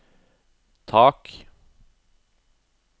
tak